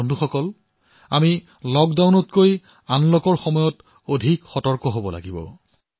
বন্ধুসকল লকডাউনতকৈ অধিক সতৰ্কতা আমি আনলকৰ সময়ছোৱাত পালন কৰিব লাগিব